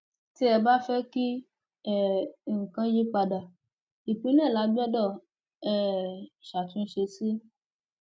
ti ẹ bá fẹ kí um nǹkan yípadà ìpilẹ la gbọdọ um ṣàtúnṣe sí